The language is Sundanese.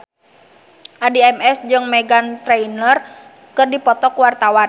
Addie MS jeung Meghan Trainor keur dipoto ku wartawan